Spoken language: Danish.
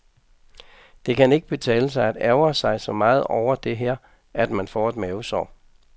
Det kan ikke betale sig at ærgre sig så meget over det her, at man får et mavesår.